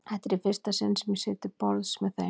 Þetta er í fyrsta sinn sem ég sit til borðs með þeim.